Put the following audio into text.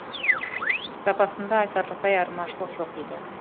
сапасында айтарлықтай айырмашылық жоқ дейді